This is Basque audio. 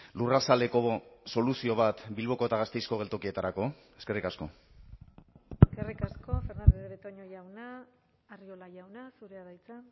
lurrazaleko soluzio bat bilboko eta gasteizko geltokietarako eskerrik asko eskerrik asko fernandez de betoño jauna arriola jauna zurea da hitza